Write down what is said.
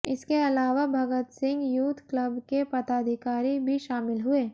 इसके अलावा Bhagat Singh youth club के पदाधिकारी भी शामिल हुए